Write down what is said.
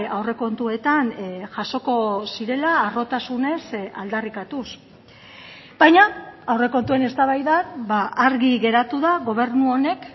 aurrekontuetan jasoko zirela harrotasunez aldarrikatuz baina aurrekontuen eztabaidan argi geratu da gobernu honek